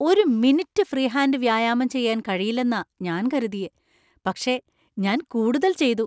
ഒരു minute free hand വ്യായാമം ചെയ്യാൻ കഴിയില്ലെന്നാ ഞാൻ കരുതിയേ, പക്ഷേ ഞാൻ കൂടുതൽ ചെയ്തു.